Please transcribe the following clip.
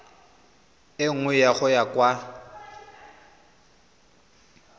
e nngwe go ya kwa